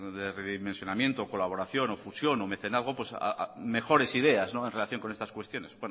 de redimensionamiento o colaboración o fusión o mecenazgo pues mejores ideas en relación con estas cuestiones